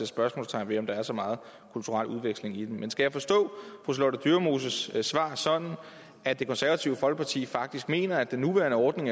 spørgsmålstegn ved om der er så meget kulturel udveksling i den men skal jeg forstå fru charlotte dyremoses svar sådan at det konservative folkeparti faktisk mener at den nuværende ordning